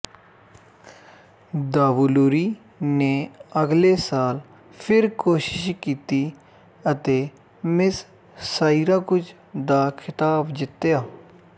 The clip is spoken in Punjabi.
ਦਾਵੁਲੂਰੀ ਨੇ ਅਗਲੇ ਸਾਲ ਫਿਰ ਕੋਸ਼ਿਸ਼ ਕੀਤੀ ਅਤੇ ਮਿਸ ਸਾਈਰਾਕੁਜ ਦਾ ਖਿਤਾਬ ਜਿੱਤਿਆ